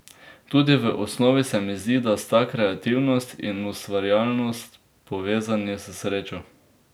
Tudi v osnovi se mi zdi, da sta kreativnost in ustvarjalnost povezani s srečo.